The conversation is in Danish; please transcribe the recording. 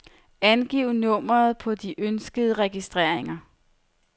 Angiv nummeret på de ønskede registreringer.